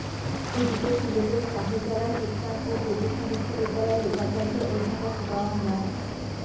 এদিকে সিলেটের শাহজালাল বিজ্ঞান ও প্রযুক্তি বিশ্ববিদ্যালয়ের উপাচার্য অধ্যাপক ড মো